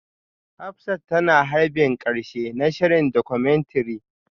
Hafsat tana harbin karshe na shirin Documentary